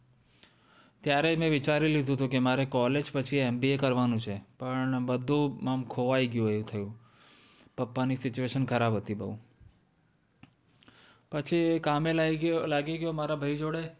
ત્યારે જ મેં વિચારી લીધુંતુ કે મારે college પછી MBA કરવાનું છે પણ બધું આમ ખોવાઈ ગયું એમ થયું. પપ્પાની situation ખરાબ હતી બહું, પછી કામે લાયગો લાગી ગયો મારા ભાઈ જોડે